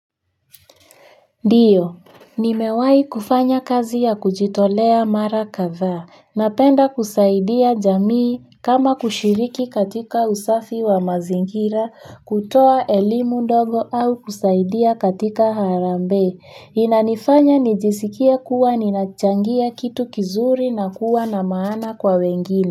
Ndiyo, nimewahi kufanya kazi ya kujitolea mara kadhaa, napenda kusaidia jamii kama kushiriki katika usafi wa mazingira, kutoa elimu ndogo au kusaidia katika harambee inanifanya nijisikie kuwa ninachangia kitu kizuri na kuwa na maana kwa wengine.